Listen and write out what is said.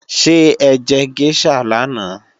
Ṣé ẹjẹ géṣà lánàá?